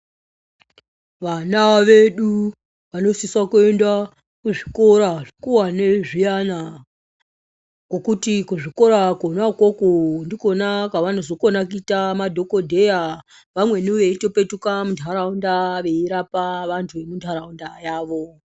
Vana vedu vanosisa kuenda kuzvikora zvekuwane zviyana. Ngokuti kuchikora kwona ikwokwo ndikwona kwavanokona kuita madhokodheya. Vamweni veitopetuka munharaunda veirapa vantu vemunharaunda yavo.